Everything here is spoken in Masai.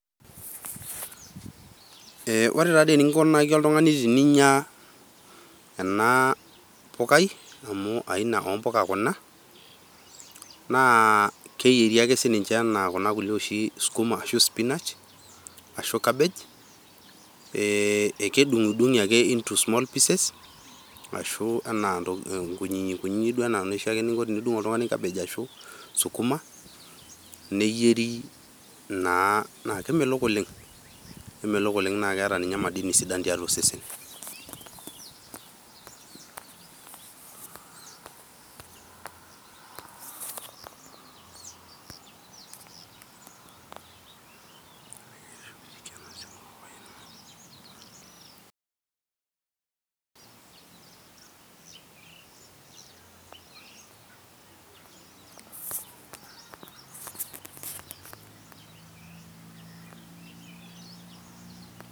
Eeeeh ore taadoi enikunaki oltung'ani te ninya ena pukai amu aina oo puka kuna, naa aa keyieri ake si ninche anaa kuna kulie najio sukuma oashu spinach ashu cabbage eeeeh kedung'udung'i ake into small pieces ashu enaa kunyikunyi ana duoke eniko oltung'ani tenidung' cabbage ashu sukuma neyieri naa na kemelok oleng'. Kemelok oleng' naa keeta di ninye madini sidan tiatua osesen. ....................................